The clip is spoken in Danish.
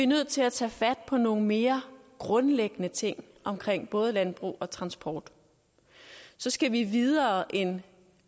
nødt til at tage fat på nogle mere grundlæggende ting omkring både landbrug og transport så skal vi videre end